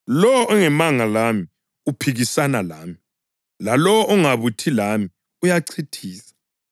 Lowo ongemanga lami uphikisana lami, lalowo ongabuthi lami uyachithiza.